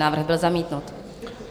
Návrh byl zamítnut.